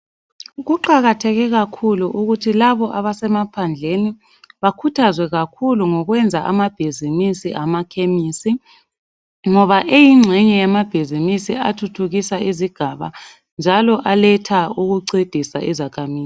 Kuqakatheke kakhulu ukuthi labo abasemaphandleni bakuthazwe ngokwamabhizimusi awamakemisi ngoba eyinxeye yamabhizimisa ancedisa ukuthuthukisa isigaba .